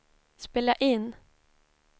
spela in